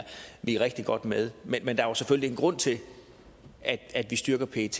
vi er rigtig godt med men der er selvfølgelig en grund til at at vi styrker pet